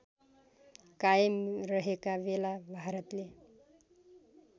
कायम रहेकाबेला भारतले